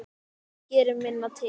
Það gerir minna til.